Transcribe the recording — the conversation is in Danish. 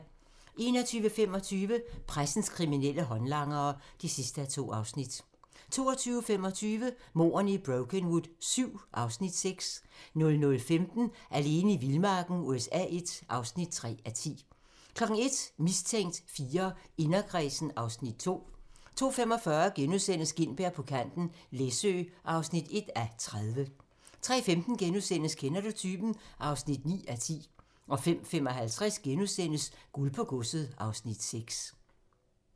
21:25: Pressens kriminelle håndlanger (2:2) 22:25: Mordene i Brokenwood VII (Afs. 6) 00:15: Alene i vildmarken USA I (3:10) 01:00: Mistænkt IV: Inderkredsen (Afs. 2) 02:45: Gintberg på kanten - Læsø (1:30)* 03:15: Kender du typen? (9:10)* 05:55: Guld på godset (Afs. 6)*